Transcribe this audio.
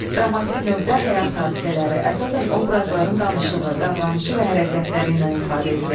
Dramatik növdə həyat hadisələri əsasən obrazların danışığı, davranışı və hərəkətləri ilə ifadə edilir.